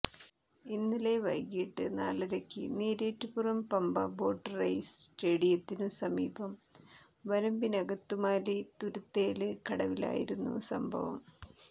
ഇന്നലെ വൈകിട്ട് നാലരയ്ക്ക് നീരേറ്റുപുറം പമ്പ ബോട്ട് റെയ്സ് സ്റ്റേഡിയത്തിനു സമീപം വരമ്പിനകത്തുമാലി തുരുത്തേല് കടവിലായിരുന്നു സംഭവം